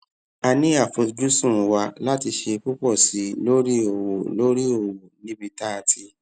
a ní àfojúsùn wa láti ṣe púpò sí i lórí òwò i lórí òwò níbi tá a ti